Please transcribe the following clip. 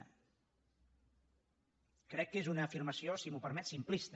crec que és una afirmació si m’ho permet simplista